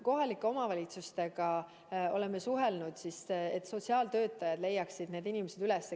Kohalike omavalitsustega oleme suhelnud, et sotsiaaltöötajad leiaksid need inimesed üles.